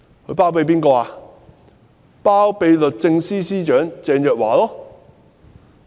就是律政司司長鄭若驊。